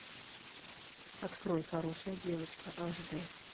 открой хорошая девочка аш д